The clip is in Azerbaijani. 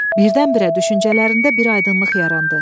Birdən-birə düşüncələrində bir aydınlıq yarandı.